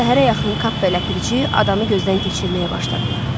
Səhərə yaxın Kap və Ləpirçi adanı gözdən keçirməyə başladılar.